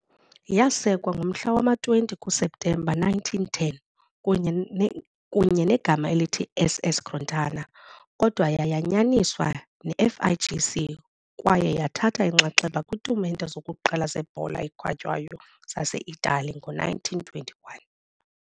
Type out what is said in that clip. Yasekwa ngomhla wama-20 kuSeptemba 1910 kunye negama elithi "SS Crotona", kodwa yayanyaniswa neFIGC kwaye yathatha inxaxheba kwiitumente zokuqala zebhola ekhatywayo zaseItali ngo-1921